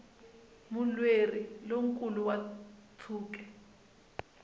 mulweri lo nkulu wa ntshuke